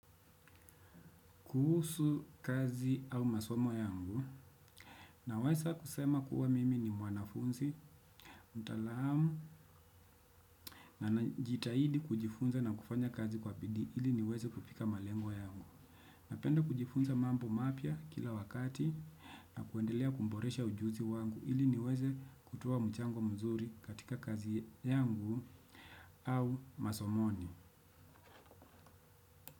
Kuhusu kazi au masomo yangu nawesa kusema kuwa mimi ni mwanafunzi, mtalaamu na najitahidi kujifunza na kufanya kazi kwa bidi ili niweze kupika malengo yangu. Napenda kujifunza mambo mapya kila wakati na kuendelea kumboresha ujuzi wangu ili niweze kutoa mchango mzuri katika kazi yangu au masomoni.